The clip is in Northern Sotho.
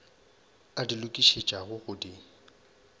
a di lokišetšago go di